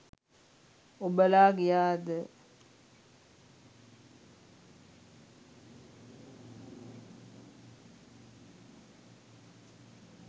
ඔබලා ගියාද?